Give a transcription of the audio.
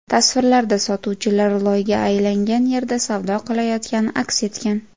Tasvirlarda sotuvchilar loyga aylangan yerda savdo qilayotgani aks etgan.